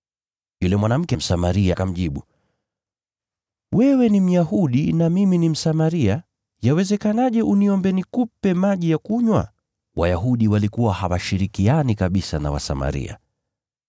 Yule mwanamke Msamaria akamjibu, “Wewe ni Myahudi na mimi ni Msamaria. Yawezekanaje uniombe nikupe maji ya kunywa?” (Wayahudi walikuwa hawashirikiani kabisa na Wasamaria.)